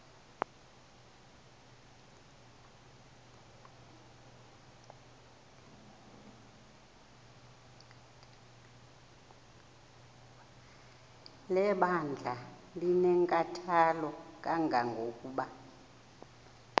lebandla linenkathalo kangangokuba